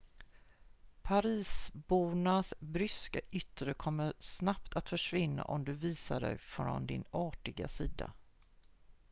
parisbornas bryska yttre kommer snabbt att försvinna om du visar dig från din artiga sida